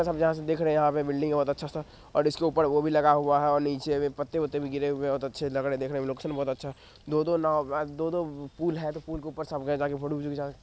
ये सब जहाँ से देख रहे है यहाँ पे बिल्डिंग है बहुत अच्छा सा और इसके ऊपर वो भी लगा हुआ है और नीचे पत्ते-वत्ते भी गिरे हुए हैं बहुत अच्छे लग रहे हैं देखने में और लोकेशन बहुत अच्छा है दो-दो नाव अ दो-दो पुल है तो पुल के ऊपर सब गए है ताकि फोटो वोटो - भी खिंचा स --